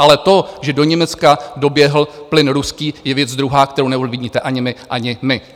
Ale to, že do Německa doběhl plyn ruský, je věc druhá, kterou neovlivníte ani vy, ani my.